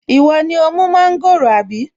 Ìwọ ni ó mú mọ́ńgòrò àbí?